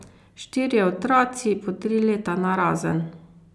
Štirje otroci, po tri leta narazen.